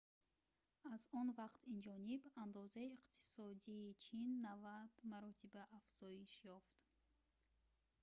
аз он вақт инҷониб андозаи иқтисодии чин 90 маротиба афзоиш ёфт